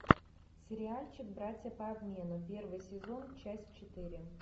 сериальчик братья по обмену первый сезон часть четыре